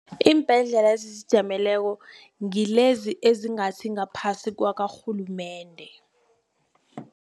Iimbhedlela ezizijameleko ngilezi ezingasi ngaphasi kwakarhulumende.